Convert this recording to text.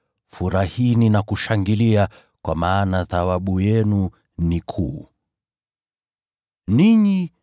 Furahini na kushangilia kwa maana thawabu yenu ni kubwa mbinguni, kwa kuwa hivyo ndivyo walivyowatesa manabii waliokuwa kabla yenu.